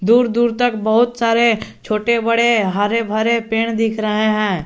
दूर दूर तक बहोत सारे छोटे बड़े हरे भरे पेड़ दिख रहे हैं।